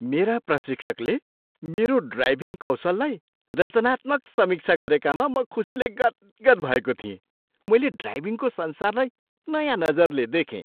मेरा प्रशिक्षकले मेरो ड्राइभिङ कौशललाई रचनात्मक समीक्षा गरेकामा म खुसीले गदगद भएको थिएँ। मैले ड्राइभिङको संसारलाई नयाँ नजरले देखेँ।